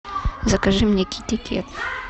закажи мне китикет